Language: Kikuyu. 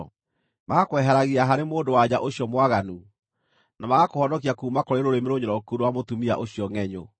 magakweheragia harĩ mũndũ-wa-nja ũcio mwaganu, na magakũhonokia kuuma kũrĩ rũrĩmĩ rũnyoroku rwa mũtumia ũcio ngʼenyũ.